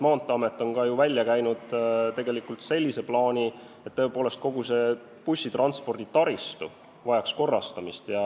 Maanteeamet on ju välja käinud ka sellise plaani, et kogu see bussitranspordi taristu vajaks korrastamist.